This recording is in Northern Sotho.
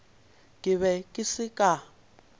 ke be ke se ka